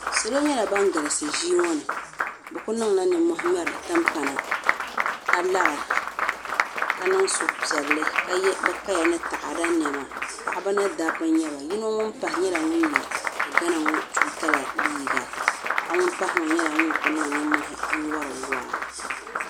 Salo nyɛla ban galisi ʒii ŋo ni bi ku niŋla nimmohi n ŋmɛri timpana ka lara ka niŋ suhupiɛlli ka yɛ bi kaya ni taada niɛma paɣaba ni dabba n nyɛba yino ŋun pahi nyɛla ŋun yɛ ti gana ŋo tuuta la liiga paɣa ŋun pahi ŋo nyɛla ŋun ku niŋ nimmohi n wori waa